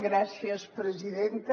gràcies presidenta